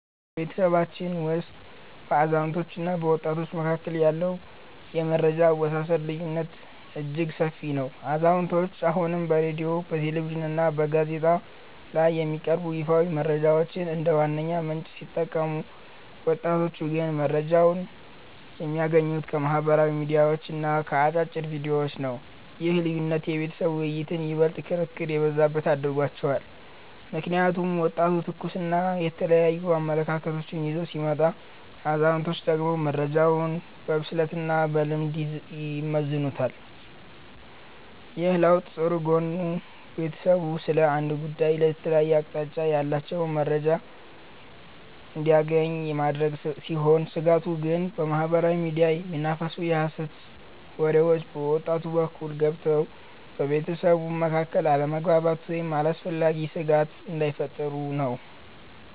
በቤተሰባችን ውስጥ በአዛውንቶችና በወጣቶች መካከል ያለው የመረጃ አወሳሰድ ልዩነት እጅግ ሰፊ ነው። አዛውንቶቹ አሁንም በሬድዮ፣ በቴሌቪዥንና በጋዜጣ ላይ የሚቀርቡ ይፋዊ መረጃዎችን እንደ ዋነኛ ምንጭ ሲጠቀሙ፣ ወጣቶቹ ግን መረጃን የሚያገኙት ከማኅበራዊ ሚዲያዎችና ከአጫጭር ቪዲዮዎች ነው። ይህ ልዩነት የቤተሰብ ውይይቶችን ይበልጥ ክርክር የበዛባቸው አድርጓቸዋል። ምክንያቱም ወጣቱ ትኩስና የተለያዩ አመለካከቶችን ይዞ ሲመጣ፣ አዛውንቶቹ ደግሞ መረጃውን በብስለትና በልምድ ይመዝኑታል። ይህ ለውጥ ጥሩ ጎኑ ቤተሰቡ ስለ አንድ ጉዳይ የተለያየ አቅጣጫ ያላቸውን መረጃዎች እንዲያገኝ ማድረጉ ሲሆን፤ ስጋቱ ግን በማኅበራዊ ሚዲያ የሚናፈሱ የሐሰት ወሬዎች በወጣቱ በኩል ገብተው በቤተሰቡ መካከል አለመግባባት ወይም አላስፈላጊ ስጋት እንዳይፈጥሩ ነው።